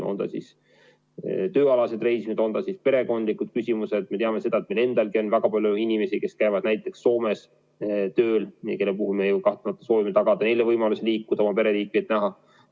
On need tööalased reisid, on need perekondlikud – me teame, et Eestis on väga palju inimesi, kes käivad Soomes tööl ja kellele me ju kahtlemata soovime tagada võimaluse liikuda, oma pereliikmeid näha.